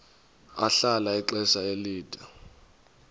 ahlala ixesha elide